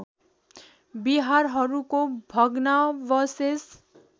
विहारहरूको भग्नावशेष